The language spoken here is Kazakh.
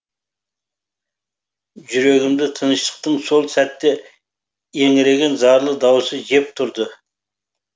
жүрегімді тыныштықтың сол сәтте еңіреген зарлы даусы жеп тұрды